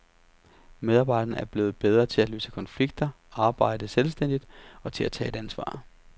Medarbejderne er blevet bedre til at løse konflikter, arbejde selvstændigt og til at tage et ansvar.